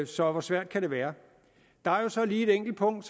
så hvor svært kan det være der er så lige et enkelt punkt